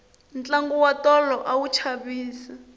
tlangu wa tolo a wu chavisa